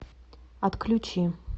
отключи